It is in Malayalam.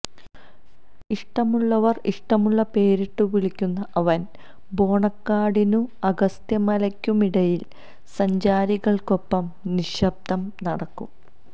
ഇഷ്ടമുള്ളവര് ഇഷ്ടമുള്ള പേരിട്ടുവിളിക്കുന്ന അവന് ബോണക്കാടിനും അഗസ്ത്യമലയ്ക്കുമിടയില് സഞ്ചാരികള്ക്കൊപ്പം നിശ്ശബ്ദം നടക്കും